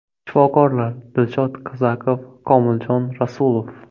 Shifokorlar: Dilshod Kazakov, Komiljon Rasulov.